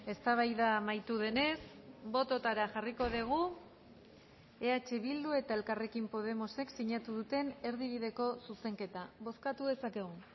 eztabaida amaitu denez bototara jarriko dugu eh bildu eta elkarrekin podemosek sinatu duten erdibideko zuzenketa bozkatu dezakegu